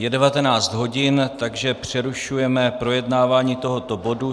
Je 19 hodin, takže přerušujeme projednávání tohoto bodu.